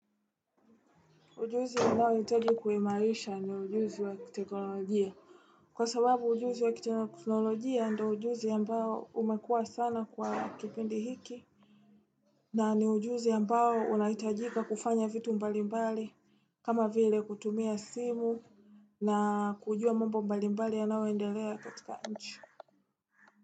Ujuzi ambao nahitaji kuimarisha ni ujuzi wa kiteknolojia. Kwa sababu ujuzi wa kiteknolojia ndo ujuzi ambao umekuwa sana kwa kipindi hiki. Na ni ujuzi ambao unahitajika kufanya vitu mbali mbali. Kama vile kutumia simu na kujua mambo mbali mbali yanayoendelea katika nchi.